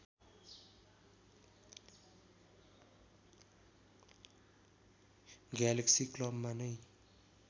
galaxy क्लबमा नै